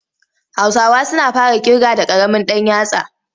Hausawa suna fara ƙirga da ƙaramin ɗan yatsa.